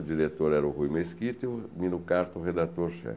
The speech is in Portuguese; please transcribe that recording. O diretor era o Rui Mesquita e o Minucarto, o redator-chefe.